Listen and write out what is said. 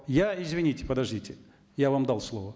я извините подождите я вам дал слово